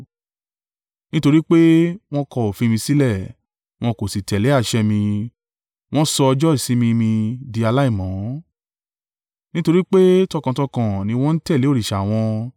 Nítorí pé, wọn kọ òfin mi sílẹ̀, wọn kò sì tẹ̀lé àṣẹ mi, wọn sọ ọjọ́ ìsinmi mi dí aláìmọ́. Nítorí pé tọkàntọkàn ni wọn ń tẹ̀lé òrìṣà wọn.